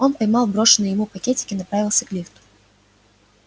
он поймал брошенный ему пакетик и направился к лифту